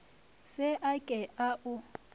se a ke a o